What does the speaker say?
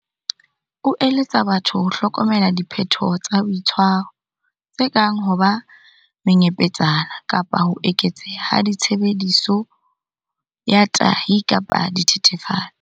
O eletsa batho ho hlokomela diphetoho tsa boitshwaro, tse kang ho ba menyepetsana kapa ho eketseha ha tshebediso ya tahi kapa dithethefatsi.